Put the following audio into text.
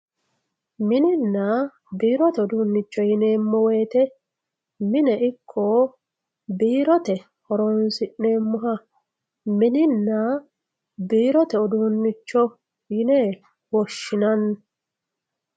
Mininna birotte uddunicho yinnemo woyitte minne iko birrotte hooronsinemohha mininna biirotte uddunicho yinne woshinanni